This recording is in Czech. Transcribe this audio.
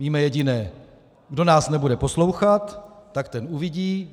Víme jediné: Kdo nás nebude poslouchat, tak ten uvidí!